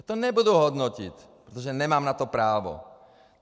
Já to nebudu hodnotit, protože na to nemám právo.